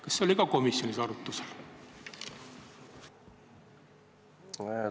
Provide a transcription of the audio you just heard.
Kas see oli ka komisjonis arutlusel?